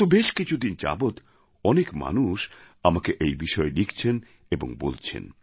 গত বেশ কিছুদিন যাবৎ অনেক মানুষ আমাকে এই বিষয়ে লিখছেন এবং বলছেন